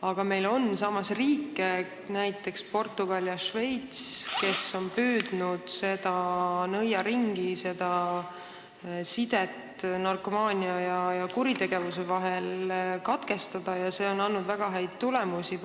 kuid on riike, näiteks Portugal ja Šveits, kes on püüdnud seda nõiaringi, seda sidet narkomaania ja kuritegevuse vahel katkestada ning see on andnud väga häid tulemusi.